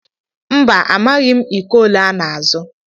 Mba, amaghị m iko ole ọ na-azụ.